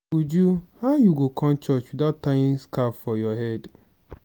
uju how you go come church without tying scarf for your head?